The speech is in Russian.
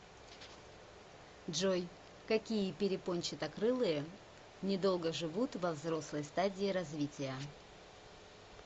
джой какие перепончатокрылые недолго живут во взрослой стадии развития